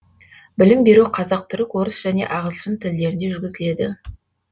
білім беру қазақ түрік орыс және ағылшын тілдерінде жүргізіледі